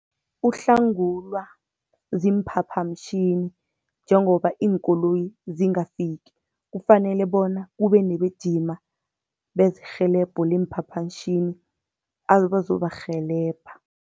Uhlangulwa ziimphaphamtjhini, njengoba iinkoloyi zingafiki. Kufanele bona kube nebejima bezerhelebho leemphaphantjhini abazobarhelebha.